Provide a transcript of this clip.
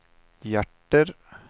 hjärter